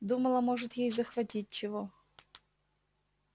думала может ей захватить чего